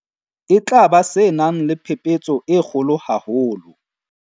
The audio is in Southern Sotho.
E tla ba se nang le phephetso e kgolo haholo.